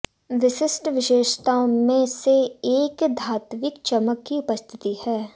विशिष्ठ विशेषताओं में से एक धात्विक चमक की उपस्थिति है